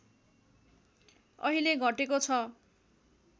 अहिले घटेको छ